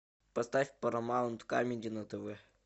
поставь парамаунт камеди на тв